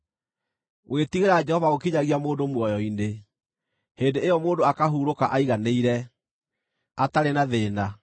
Gwĩtigĩra Jehova gũkinyagia mũndũ muoyo-inĩ: Hĩndĩ ĩyo mũndũ akahurũka aiganĩire, atarĩ na thĩĩna.